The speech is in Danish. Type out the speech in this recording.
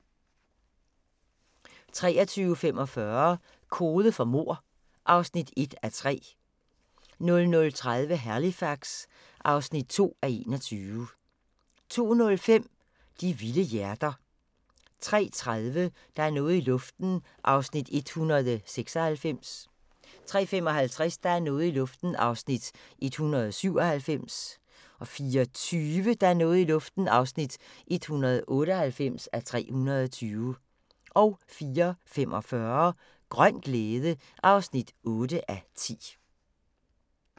23:45: Kode for mord (1:3) 00:30: Halifax (2:21) 02:05: De vilde hjerter 03:30: Der er noget i luften (196:320) 03:55: Der er noget i luften (197:320) 04:20: Der er noget i luften (198:320) 04:45: Grøn glæde (8:10)